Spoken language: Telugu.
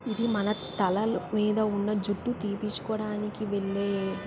ఇది మన తలలు మీద ఉన్న జుట్టు తిప్పిన్చుకోడానికి వెళ్ళే--